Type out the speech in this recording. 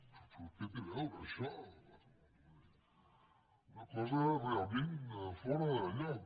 però què hi té a veure això una cosa realment fora de lloc